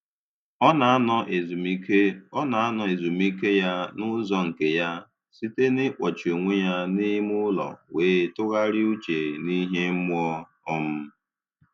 Ọ na-anọ ezumike Ọ na-anọ ezumike ya n'ụzọ nke ya, site na-ịkpọchi onwe ya n'ime ụlọ wee tụgharịa uche n'ihe mmụọ um